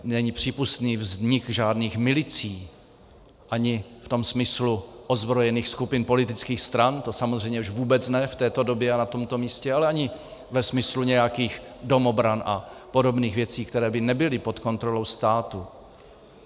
Není přípustný vznik žádných milicí, ani v tom smyslu ozbrojených skupin politických stran, to samozřejmě už vůbec ne v této době a na tomto místě, ale ani ve smyslu nějakých domobran a podobných věcí, které by nebyly pod kontrolou státu.